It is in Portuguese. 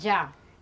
Já.